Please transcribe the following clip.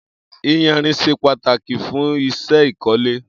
Iyànrín ṣé pàtákí fùn iṣẹ ikọ̀lé